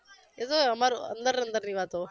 એ તો અમારે અંદર અંદરની વાતો